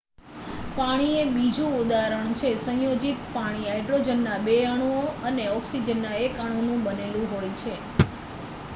પાણી એ બીજું ઉદાહરણ છે સંયોજિત પાણી હાઈડ્રોજનનાં 2 અણુઓ અને ઓક્સિજનનાં 1 અણુનું બનેલું હોય છે